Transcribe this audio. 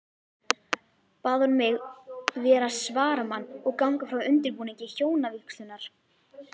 Bað hún mig vera svaramann og ganga frá undirbúningi hjónavígslunnar.